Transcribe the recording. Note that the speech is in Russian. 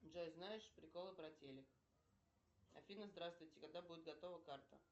джой знаешь приколы про телик афина здравствуйте когда будет готова карта